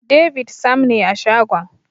David Sam ne a shagon.